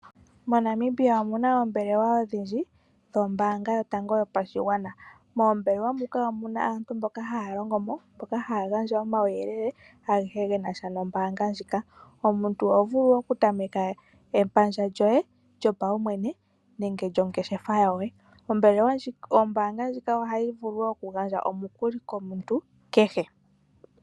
moNamibia omuna oombelewa odhindji dho mbaanga yotango yopashigwana. Moombelewa moka omuna aantu mboka haya longomo haya gandja omauyelele agehe genasha nombaanga ndjika. Omuntu oho vulu woo okutameka epandja lyoye lyopaumwene